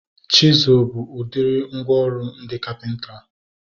Chisụl bụ udiri mgwooru ndị kapịnta